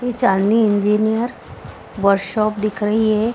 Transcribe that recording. ये चाँदनी engineer workshop दिख रही है।